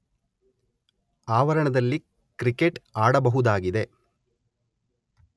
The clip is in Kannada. ಆವರಣದಲ್ಲಿ ಕ್ರಿಕೇಟ್ ಆಡಬಹುದಾಗಿದೆ